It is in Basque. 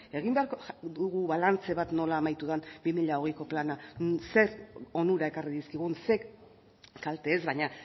jartzea egin beharko dugu balantze bat nola amaitu den bi mila hogeiko plana zein onura ekarri dizkigun zein kalte ez baina